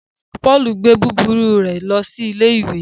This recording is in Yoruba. Paul gbé búburú rẹ lo sí ìlé ìwé